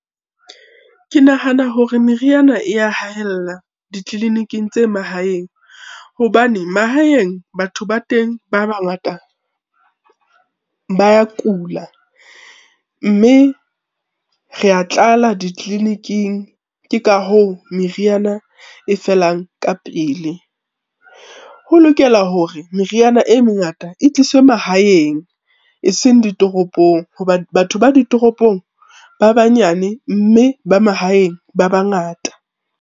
Ke nahana hore meriana e ya haella ditleliniking tse mahaeng, hobane mahaeng batho ba teng ba bangata, ba ya kula mme re ya tlala ditleliniking, ke ka hoo meriana e felang ka pele. Ho lokela hore meriana e mengata e tliswe mahaeng eseng ditoropong, hoba batho ba ditoropong ba banyane mme ba mahaeng ba bangata.